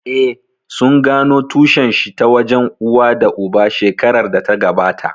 Eh, sun gano tushen shi ta wajen uwa da uba shekarar da ta gabata